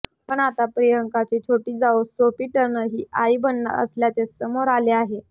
पण आता प्रियांकाची छोटी जाऊ सोफी टर्नर ही आई बनणार असल्याचे समोर आले आहे